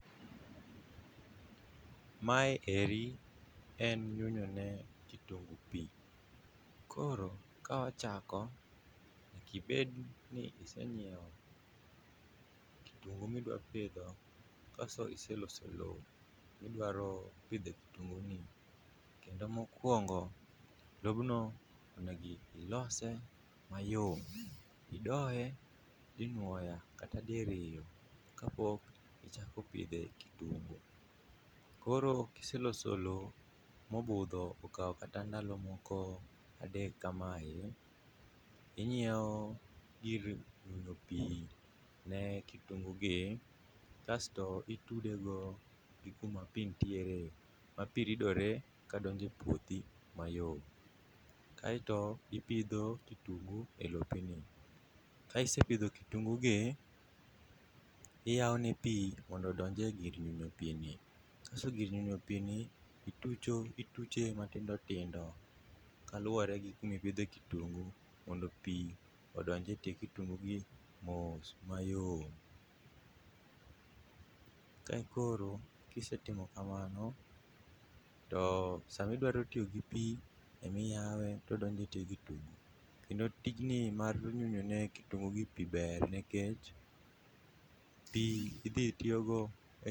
Mae eri en nyunyo ne kitunguu pi. Koro ka wachako, nyaka ibed ni isenyiewo kitunguu midwa pidho, kasto iseloso lo midwaro pidhe kitunguu ni. Kendo mokuongo, lobno onego ilose mayom, idoe dinuoya, kata diriyo ka pok ichako pidhe kitunguu. Koro kiseloso lo, mobudho okao kata ndalo moko adek kamae, inyiewo gir nyunyo pi ne kitunguu gi kasto itude go gi kuma pi ntiere, ma pi ridore ka donjo e puothi mayom. Kaeto ipidho kitungu e lo piny. Ka isepidho kitunguu gi, iyao ne pi mondo odonj e gir nyunyo pi ni, kasto gir nyunyo pi ni itucho, ituche matindo tindo kaluwore gi kuma ipidhe kitunguu mondo pi odonj e tie kitungu gi mos mayom. Kae koro kisetimo kamano, to sama idwaro tiyo gi pi e ma iyawe to odonjo e tie kitungu. Kendo tijni mar nyunyo ne kitungu gi pi ber nikech pi idhi tiyo go e...